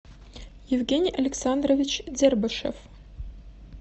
евгений александрович дербышев